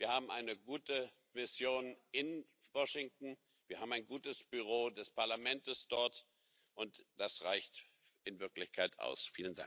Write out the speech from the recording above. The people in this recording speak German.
Wir haben eine gute Mission in Washington, wir haben ein gutes Büro des Parlaments dort, und das reicht in Wirklichkeit aus.